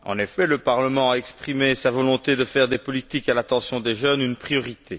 En effet, le Parlement a exprimé sa volonté de faire des politiques à l'intention des jeunes une priorité.